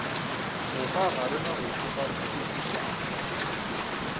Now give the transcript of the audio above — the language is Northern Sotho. moka ga rena re tšokatšokišwa